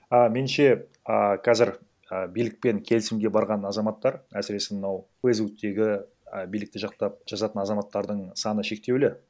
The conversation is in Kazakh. а менінше а қазір ы билікпен келісімге барған азаматтар әсіресе мынау фейсбуктегі і билікті жақтап жазатын азаматтардың саны шектеулі